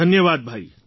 ધન્યવાદ ભાઈ